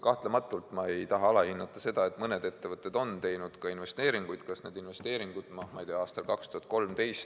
Kahtlematult ma ei taha alahinnata seda, et mõned ettevõtted on teinud investeeringuid, kas või aastal 2013.